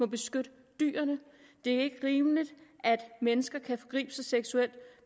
beskytte dyrene det er ikke rimeligt at mennesker kan forgribe sig seksuelt